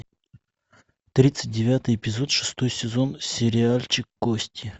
тридцать девятый эпизод шестой сезон сериальчик кости